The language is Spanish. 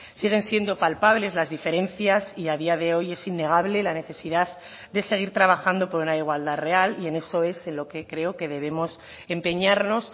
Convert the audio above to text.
siguen siendo palpables las diferencias y a día de hoy es innegable la necesidad de seguir trabajando por una igualdad real y en eso es en lo que creo que debemos empeñarnos